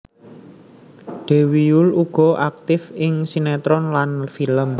Dewi Yull uga aktif ing sinetron lan film